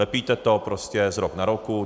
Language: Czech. Lepíte to prostě z rok na roku.